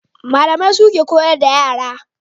Malamai suke koyar da yara